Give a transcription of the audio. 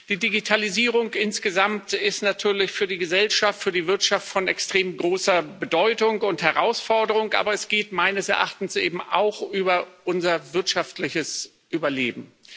Die Digitalisierung insgesamt ist natürlich für die Gesellschaft, für die Wirtschaft von extrem großer Bedeutung und Herausforderung, aber es geht meines Erachtens eben auch um unser wirtschaftliches Überleben.